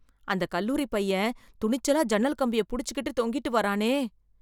அந்த கல்லூரிப் பையன், துணிச்சலா ஜன்னல் கம்பிய புடிச்சுகிட்டு தொங்கிட்டு வரானே...